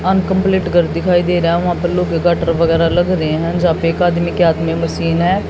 Uncomplete घर दिखाई दे रहा वहां पे लोह गाटर वगैरा लग रहे हैं जहां पर एक आदमी के हाथ में मशीन है।